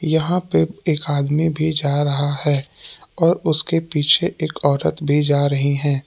यहां पे एक आदमी भी जा रहा है और उसके पीछे एक औरत भी जा रही है।